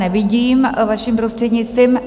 Nevidím, vaším prostřednictvím.